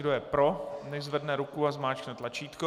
Kdo je pro, nechť zvedne ruku a zmáčkne tlačítko.